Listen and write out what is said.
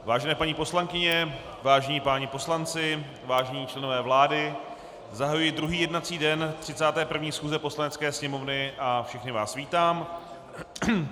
Vážené paní poslankyně, vážení páni poslanci, vážení členové vlády, zahajuji druhý jednací den 31. schůze Poslanecké sněmovny a všechny vás vítám.